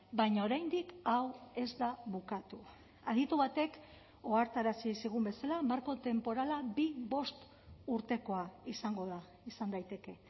baina oraindik hau ez da bukatu aditu batek ohartarazi zigun bezala marko tenporala bi bost urtekoa izango da izan daiteke